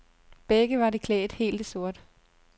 Begge var de klædt helt i sort.